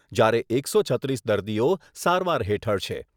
જ્યારે એકસો છત્રીસ દર્દીઓ સારવાર હેઠળ છે.